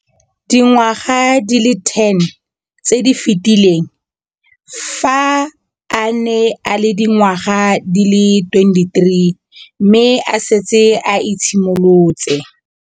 Dingwaga di le 10 tse di fetileng, fa a ne a le dingwaga di le 23 mme a setse a itshimoletse.